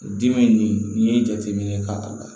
Dimi nin n'i ye jateminɛ kɛ k'a bila